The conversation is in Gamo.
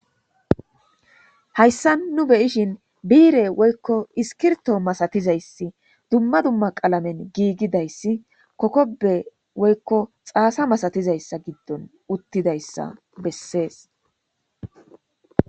hayssa nu beyishin biire woykko iskirto masatizayssi dumma dumma qalamen giigidayssi kokobe woykko xaasa masatizayssa giddon uttidayssa bessees